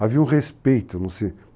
Havia um respeito.